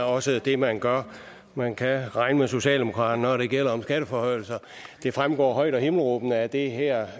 også det man gør man kan regne med socialdemokraterne når det gælder skatteforhøjelser det fremgår højt og himmelråbende af det her